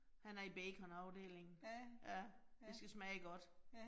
Han er i baconafdelingen. Ja, det skal smage godt